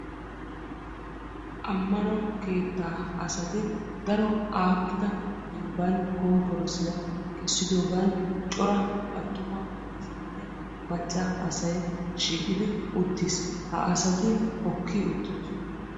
Ammano keettaa asati daro aakkida dembban kompporosiyaa kessidoogan cora attuma asayinne macca asai shiiqidi uttiis. ha asati hokki uttidosona